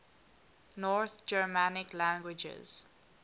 north germanic languages